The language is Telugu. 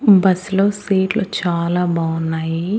బస్ లో సీట్లు చాలా బాగున్నాయి.